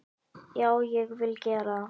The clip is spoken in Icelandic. Já, ég vil gera það.